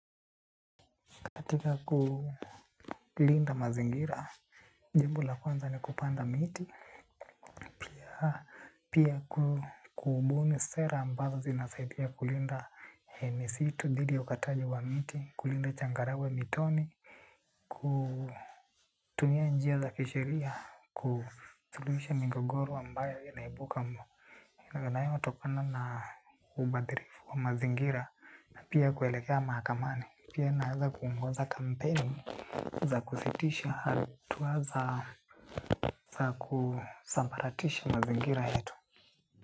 Katika kulinda mazingira jambo la kwanza ni kupanda miti. Pia kubuni sera ambazo zinasaidia kulinda misitu, dhidi ya ukataji wa miti, kulinda changarawe mitoni. Kumia njia za kisheria, kusulihisha migogoro ambayo inaibuka mo na yanayo tokana na ubadhirifu wa mazingira pia kuelekea mahakamani pia inaeza kuongonza kampeni za kusitisha hatua za kusambaratisha mazingira yetu.